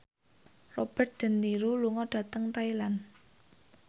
Robert de Niro lunga dhateng Thailand